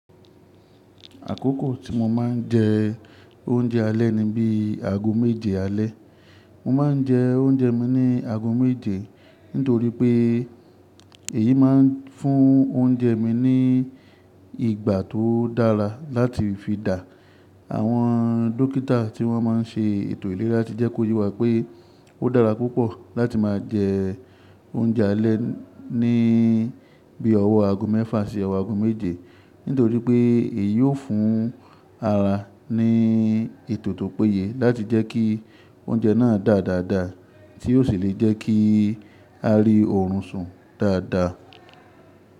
Àkókò tí mo máa ń jẹ oúnjẹ alẹ́ ni bí i ago méje alẹ́. Mo máa ń jẹ oúnjẹ mi ní ago méje, nítorí pé èyí máa ń fún oúnjẹ mi ní ìgbà tó dára láti fi dà. Àwọn dókítà tí wọ́n máa ń ṣe ètò ìlera ti jẹ́ kó yà wípé ó dára púpọ̀ láti máa jẹ oúnjẹ alẹ́ ní bí i ọwọ́ ago mẹ́fà sí ọwọ́ ago méje, nítorí pé èyí ó fún ara ní ètò tó péye láti jẹ́ kí oúnjẹ náà dà dáadáa, tí ó sì lè jẹ́ kí a rí ọ̀run sùn dáadáa.